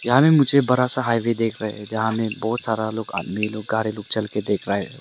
यहां में मुझे बड़ा सा हाईवे देख रहे हैं जहां में बहुत सारा लोग आदमी लोग कार लोग चल के देख रहा है।